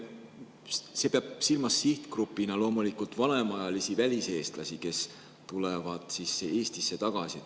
See peab sihtgrupina silmas loomulikult vanemaealisi väliseestlasi, kes tulevad Eestisse tagasi.